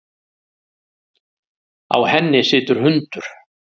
Á henni situr hundur.